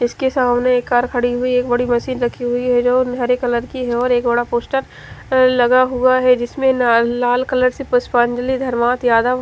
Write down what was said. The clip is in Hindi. जिस के सामने एक कार खड़ी हुई है बड़ी मशीन है जो हरे कलर की है और एक बड़ा पोस्टर लगा हुआ है जिस पर ल-लाल कलर से पुष्पान धर्मात यादव--